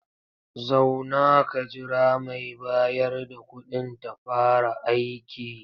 Zauna ka jira mai bayar da kuɗin ta fara aiki.